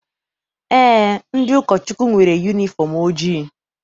Eé, ndị ụkọchukwu nwere yunifọm ojii.